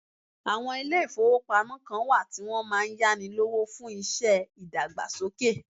Àwọn ilé ìfọwọ́pamo kàn wá tí wọn máà ń yáni lówó fún iṣẹ́ ìdàgbàsókè.